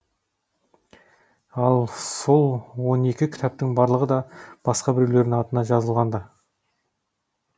ал сол он екі кітаптың барлығы да басқа біреулердің атынан жазылған ды